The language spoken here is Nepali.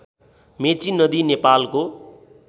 मेची नदी नेपालको